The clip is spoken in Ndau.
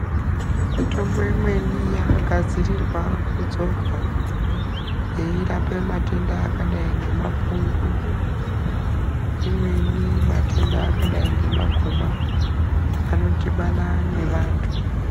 Mitombo imweni yakagadzirirwa kudzorwa, yeirape matenda akadai ngemapundu , imweni matenda akadai ngemagumwa anodhibana nevantu.